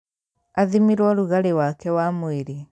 Athimirwo rugarĩ wake wa mwĩrĩ